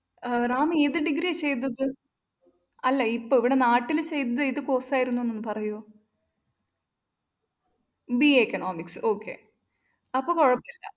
റാം ഏത് degree യാ ചെയ്തത്? അല്ല ഇപ്പ ഇവിടെ നാട്ടില്‍ ചെയ്തത് ഏത് course ആയിരുന്നെന്നൊന്ന് പറയുവോ BAeconomics അപ്പൊ കുഴപ്പമില്ല.